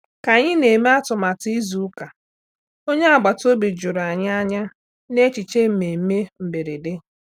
Ka anyị na-eme atụmatụ izu ụka, onye agbataobi juru anyị anya na echiche mmemme mberede.